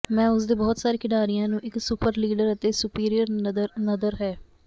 ਮੈਂ ਉਸ ਦੇ ਬਹੁਤ ਸਾਰੇ ਖਿਡਾਰੀਆਂ ਨੂੰ ਇਕ ਸੁਪਰ ਲੀਡਰ ਅਤੇ ਸੁਪਰਿਅਰ ਨਦਰ ਹੈ